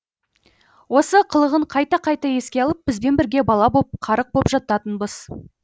осы қылығын қайта қайта еске алып бізбен бірге бала боп қарық боп жататынбыз